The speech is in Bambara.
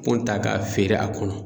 Kon ta k'a feere a kɔnɔ